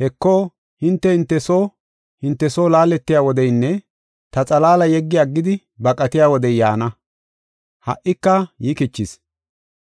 Heko, hinte, hinte soo hinte soo laaletiya wodeynne ta xalaala yeggi aggidi baqatiya wodey yaana; ha77ika yikichis.